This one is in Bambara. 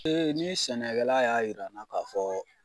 ni sɛnɛkɛla y'a yir'an na ka fɔɔ